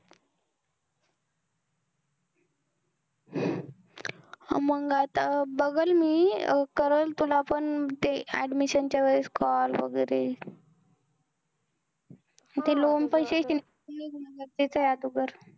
मंग आता बघलं, मी करलं तुला पण ते admission च्या वेळेस call वगैरे. ते loan हा. ते मिळणं गरजेचं आहे अगोदर